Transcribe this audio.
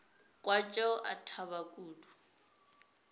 kwa tšeo a thaba kudu